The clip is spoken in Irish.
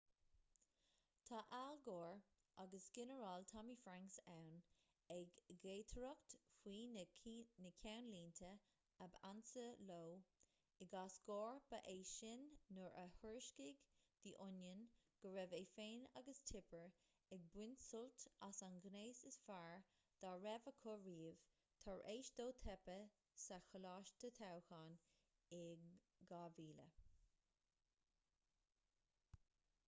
tá al gore agus ginearál tommy franks ann ag gaotaireacht faoi na ceannlínte ab ansa leo i gcás gore ba é sin nuair a thuairiscigh the onion go raibh é féin agus tipper ag baint sult as an ngnéas is fearr dá raibh acu riamh tar éis dó teipeadh sa choláiste toghcháin in 2000